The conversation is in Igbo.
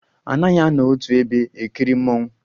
A naghi anọ otu ebe ekiri mmonwu